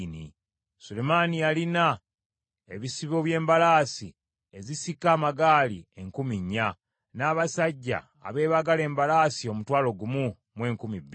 Sulemaani yalina ebisibo by’embalaasi ezisika amagaali enkumi nnya, n’abasajja abeebagala embalaasi omutwalo gumu mu enkumi bbiri.